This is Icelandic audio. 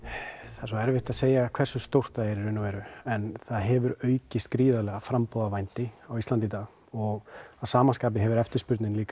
það er erfitt að segja hversu stórt það er í raun og veru en það hefur aukist gríðarlega framboð á vændi á Íslandi í dag og að sama skapi hefur eftirspurnin líka